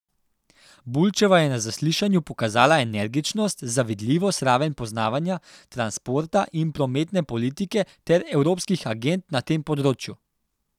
Bulčeva je na zaslišanju pokazala energičnost, zavidljivo raven poznavanja transporta in prometne politike ter evropskih agend na tem področju.